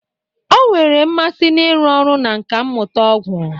Ọ nwere mmasị n'ịrụ ọrụ na nkà mmụta ọgwụ